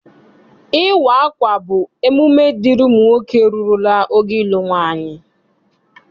Ịwa akwa bụ emume dịịrị ụmụ nwoke rurula ogo ịlụ nwaanyị.